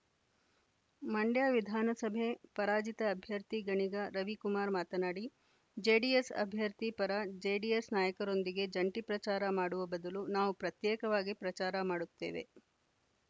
ಮಂಡ್ಯ ವಿಧಾನಸಭೆ ಪರಾಜಿತ ಅಭ್ಯರ್ಥಿ ಗಣಿಗ ರವಿ ಕುಮಾರ್‌ ಮಾತನಾಡಿ ಜೆಡಿಎಸ್‌ ಅಭ್ಯರ್ಥಿ ಪರ ಜೆಡಿಎಸ್‌ ನಾಯಕರೊಂದಿಗೆ ಜಂಟಿ ಪ್ರಚಾರ ಮಾಡುವ ಬದಲು ನಾವು ಪ್ರತ್ಯೇಕವಾಗಿ ಪ್ರಚಾರ ಮಾಡುತ್ತೇವೆ